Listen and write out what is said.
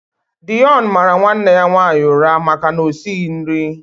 Deon mara nwanne ya nwaanyị ụra maka na o esighị nri.